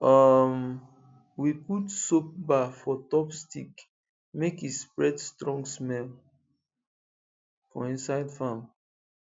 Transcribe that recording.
um we put soap bar for top stick make e spread strong smell for inside farm